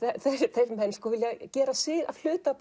þeir menn vilja gera sig að hluta af